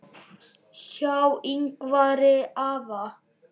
Hjá Yngvari afa